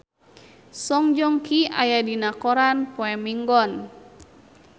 Song Joong Ki aya dina koran poe Minggon